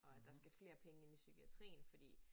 Og at der skal flere penge ind i psykiatrien fordi